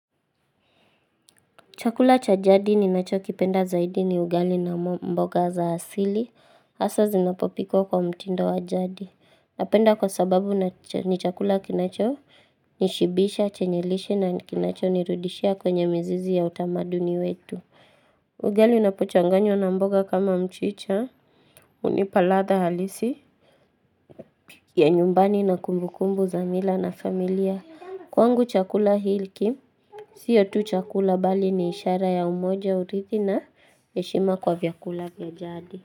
Chakula cha jadi ninachokipenda zaidi ni ugali na mboga za asili, hasa zinapopikwa kwa mtindo wa jadi. Napenda kwa sababu ni chakula kinachonishibisha, chenye lishe na kinachonirudisha kwenye mizizi ya utamaduni wetu. Ugali unapochanganywa na mboga kama mchicha, hunipa ladha halisi. Ya nyumbani na kumbukumbu za mila na familia, kwangu chakula hiki. Siyo tu chakula bali ni ishara ya umoja urithi na heshima kwa vyakula vya jadi.